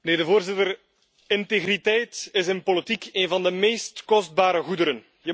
Voorzitter, integriteit is in politiek een van de meest kostbare goederen.